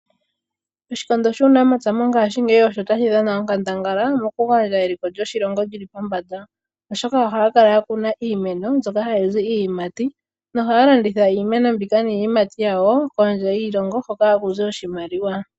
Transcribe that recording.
Oshikondo shuunamapya mongaashingeyi osho tashi dhana onkandangala mokugandja eliko lyoshilongo lyi li pombanda, oshoka ohaya kala ya kuna iimeno mbyoka hayi zi iiyimati nohaya landitha iimeno mbika niiyimati yawo kondje yiilongo hoka haku zi oshimaliwa.